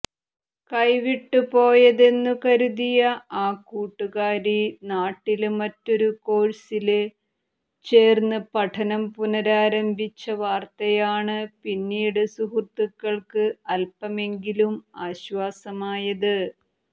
കൈവിട്ടുപോയെന്നുകരുതിയ ആ കൂട്ടുകാരി നാട്ടില് മറ്റൊരു കോഴ്സില് ചേര്ന്ന് പഠനം പുനരാരംഭിച്ച വാര്ത്തയാണ് പിന്നീട് സുഹൃത്തുക്കള്ക്ക് അല്പമെങ്കിലും ആശ്വാസമായത്